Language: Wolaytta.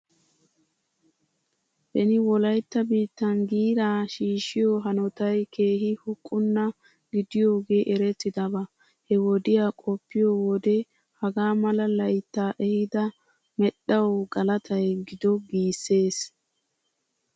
Beni Wolaytta biittan giiraa shiishshiyoo hanotay keehi huqqunna gidiyoogee erettidaba. He wodiyaa qoppiyo wode hagaa mala layttaa ehiida medhdhawu galatay gido giissees.